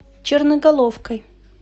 черноголовкой